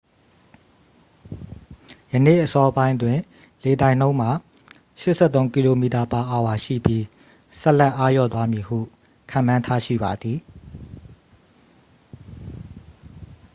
ယနေ့အစောပိုင်းတွင် လေတိုက်နှုန်းမှာ 83 km/h ရှိပြီး ဆက်လက်အားလျော့သွားမည်ဟု ခန့်မှန်းထားရှိပါသည်